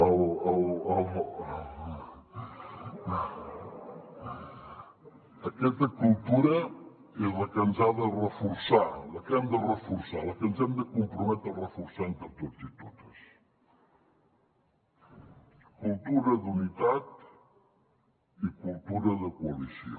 aquesta cultura és la que ens ha de reforçar la que hem de reforçar la que ens hem de comprometre a reforçar entre tots i totes cultura d’unitat i cultura de coalició